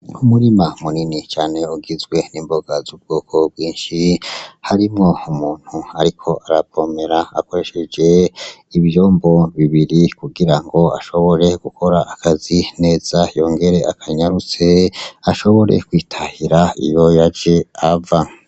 Umurima munini cane ugizwe nimboga zubwoko bwinshi, harimwo umuntu ariko aravomera akoresheje ivyombo bibiri kugira ngo ashobore gukora akazi neza yongere akanyarutse, ashobore kwitahira iyo yaje ava.